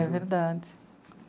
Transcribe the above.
É verdade.